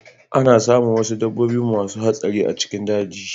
Ana samun wuasu dabbobi masu hatsari a cikin daji.